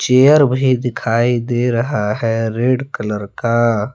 Air भी दिखाई दे रहा है रेड कलर का।